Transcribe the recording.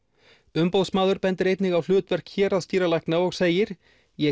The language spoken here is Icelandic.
umboðsmaður bendir einnig á hlutverk héraðsdýralækna og segir ég